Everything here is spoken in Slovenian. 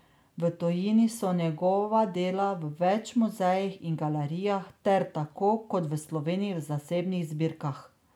V tujini so njegova dela v več muzejih in galerijah ter, tako kot v Sloveniji, v zasebnih zbirkah.